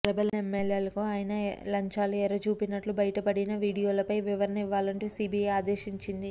rebel ఎమ్మెల్యేలకు ఆయన లంచాలు ఎర చూపినట్లు బయటపడిన వీడియోలపై వివరణ ఇవ్వాలంటూ సీబీఐ ఆదేశించింది